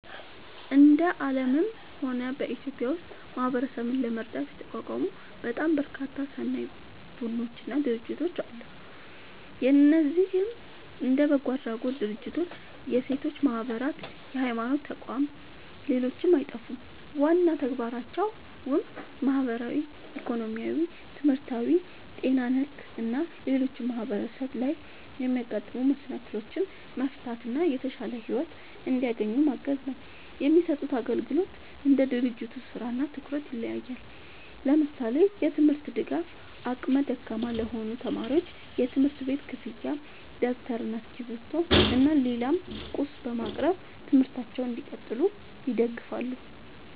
እንደ አለምም ሆነ በኢትዮጵያ ውስጥ ማህበረሰብን ለመርዳት የተቋቋሙ በጣም በርካታ ሰናይ ቡድኖች እና ድርጅቶች አለ። እነዚህም እንደ በጎ አድራጎት ድርጅቶች፣ የሴቶች ማህበራት፣ የሀይማኖት ተቋም ሌሎችም አይጠፉም። ዋና ተግባራቸውም ማህበራዊ፣ ኢኮኖሚያዊ፣ ትምህርታዊ፣ ጤና ነክ እና ሌሎችም ማህበረሰብ ላይ የሚያጋጥሙ መሰናክሎችን መፍታት እና የተሻለ ሒወት እንዲያገኙ ማገዝ ነው። የሚሰጡት አግልግሎት እንደ ድርጅቱ ስራ እና ትኩረት ይለያያል። ለምሳሌ፦ የትምርት ድጋፍ አቅመ ደካማ ለሆኑ ተማሪዎች የትምህርት ቤት ክፍያ ደብተር እና እስክሪብቶ እና ሌላም ቁስ በማቅረብ ትምህርታቸውን እንዲቀጥሉ ይደግፋሉ